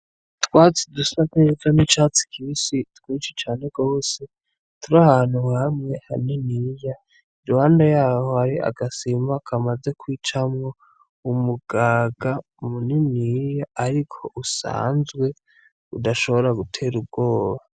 Utwatsi dusa neza n' icatsi kibisi twinshi cane gose turi ahantu hamwe haniniya iruhande yaho hari agasima kamaze kwicamwo umugaga muniniya ariko usanzwe udashobora gutera ubwoba.